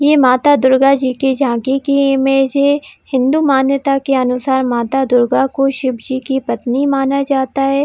ये माता दुर्गा जी की झांकी की इमेज हैहिन्दू मान्यता के अनुसार माता दुर्गा को शिव की पत्नी माना जाता है।